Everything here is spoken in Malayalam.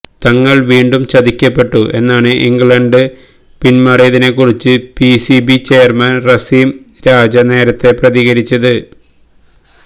തങ്ങൾ വീണ്ടും ചതിക്കപ്പെട്ടു എന്നാണ് ഇംഗ്ലണ്ട് പിന്മാറിയതിനെ കുറിച്ച് പിസിബി ചെയർമാൻ റമീസ് രാജ നേരത്തെ പ്രതികരിച്ചിരുന്നത്